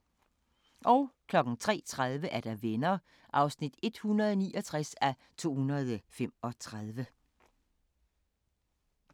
03:30: Venner (169:235)